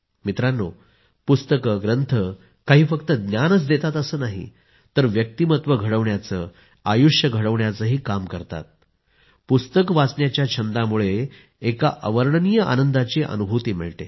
मित्रांनो पुस्तकं ग्रंथ काही फक्त ज्ञान देतात असं नाही तर व्यक्तिमत्व घडवण्याचं आयुष्य घडवण्याचंही काम करतात पुस्तक वाचण्याच्या छंदामुळं एका अवर्णनीय आनंदाची अनुभूती मिळते